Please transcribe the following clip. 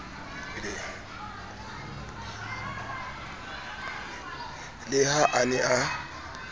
le ha a ne a